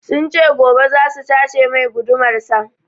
Sun ce gobe zasu sace mai gudumar sa